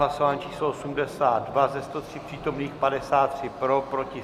Hlasování číslo 82, ze 103 přítomných 53 pro, 7 proti.